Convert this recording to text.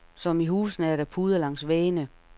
Som i husene er der puder langs væggene.